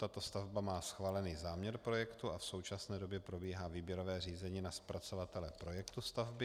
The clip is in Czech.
Tato stavba má schválený záměr projektu a v současné době probíhá výběrové řízení na zpracovatele projektu stavby.